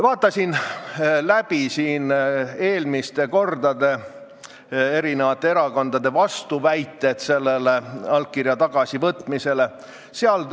Vaatasin läbi, millised olid eelmistel kordadel eri erakondade vastuväited allkirja tagasivõtmisele.